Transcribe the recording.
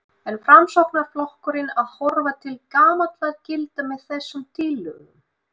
Er Framsóknarflokkurinn að horfa til gamalla gilda með þessum tillögum?